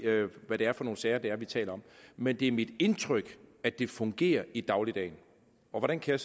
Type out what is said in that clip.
hvad det er for nogle sager vi taler om men det er mit indtryk at det fungerer i dagligdagen hvordan kan